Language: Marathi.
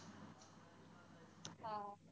हां